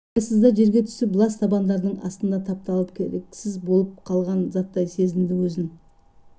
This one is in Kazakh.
абайсызда жерге түсіп лас табандардың астында тапталып керексіз болып қалған заттай сезінді өзін